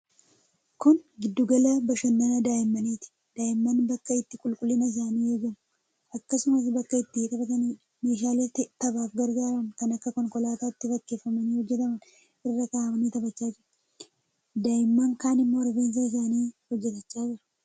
Kun giddugala bashannanaa daa'immaniiti. Daa'imman bakka itti qulqullinni isaanii eegamu, akkasumas bakka itti taphataniidha. Meeshaalee taphaaf gargaaran kan konkolaataatti fakkeeffamanii hojjetaman irra kaa'amanii taphachaa jiru. Daa'imman kaan immoo rifeensa isaanii hojjetachaa jiru.